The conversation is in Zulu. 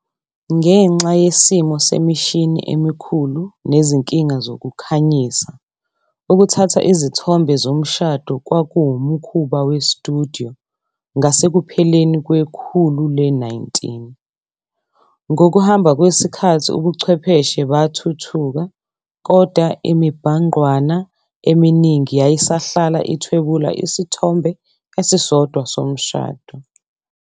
Ngenxa yesimo semishini emikhulu nezinkinga zokukhanyisa, ukuthatha izithombe zomshado kwakuwumkhuba we-studio ngasekupheleni kwekhulu le-19. Ngokuhamba kwesikhathi, ubuchwepheshe bathuthuka, kodwa imibhangqwana eminingi yayisahlala ithwebula isithombe esisodwa somshado.